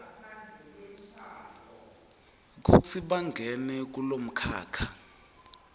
kutsi bangene kulomkhakha